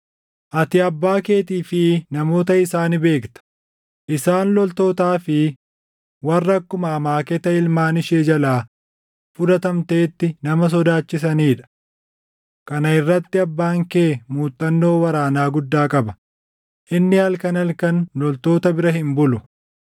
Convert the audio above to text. Ati abbaa keetii fi namoota isaa ni beekta; isaan loltootaa fi warra akkuma amaaketa ilmaan ishee jalaa fudhatamteetti nama sodaachisanii dha. Kana irratti abbaan kee muuxannoo waraanaa guddaa qaba; inni halkan halkan loltoota bira hin bulu.